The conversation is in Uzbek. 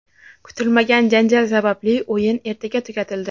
Kutilmagan janjal sababli o‘yin erta tugatildi.